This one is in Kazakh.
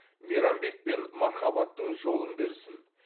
мейрамбек пен мархаббаттың жолын берсін